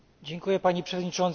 Pani Przewodnicząca!